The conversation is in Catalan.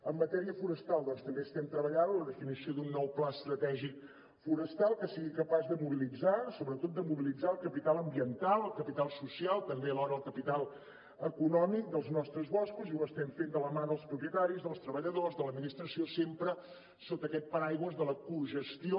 en matèria forestal doncs també estem treballant la definició d’un nou pla estratègic forestal que sigui capaç de mobilitzar sobretot de mobilitzar el capital ambiental el capital social també alhora el capital econòmic dels nostres boscos i ho estem fent de la mà dels propietaris dels treballadors de l’administració sempre sota aquest paraigua de la cogestió